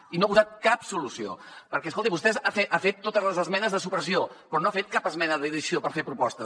i no ha posat cap solució perquè escolti vostè ha fet totes les esmenes de supressió però no ha fet cap esmena d’addició per fer propostes